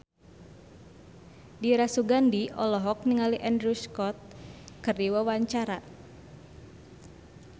Dira Sugandi olohok ningali Andrew Scott keur diwawancara